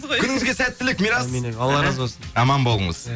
күніңізге сәттілік мирас алла разы болсын аман болыңыз